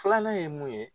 Filanan ye mun ye